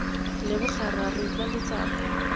leboga rra re utlwa letsapa